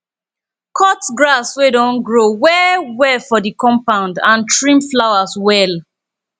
cut grass wey don grow well well for di compound and trim flowers well